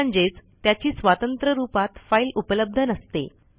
म्हणजेच त्याची स्वतंत्र रूपात फाईल उपलब्ध नसते